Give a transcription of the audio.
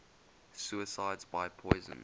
suicides by poison